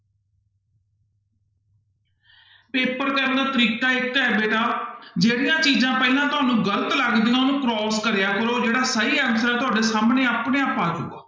Paper ਕਰਨ ਦਾ ਤਰੀਕਾ ਇੱਕ ਹੈ ਬੇਟਾ ਜਿਹੜੀਆਂ ਚੀਜ਼ਾਂ ਪਹਿਲਾਂ ਤੁਹਾਨੂੰ ਗ਼ਲਤ ਲੱਗਦੀਆਂ ਉਹਨੂੰ cross ਕਰਿਆ ਕਰੋ ਜਿਹੜਾ ਸਹੀ answer ਹੈ ਤੁਹਾਡੇ ਸਾਹਮਣੇ ਆਪਣੇ ਆਪ ਆ ਜਾਏਗਾ।